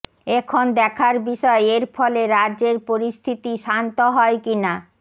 এখন দেখার বিষয় এর ফলে রাজ্যের পরিস্থিতি শান্ত হয় কিনা